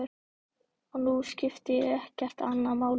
Og nú skipti ekkert annað máli.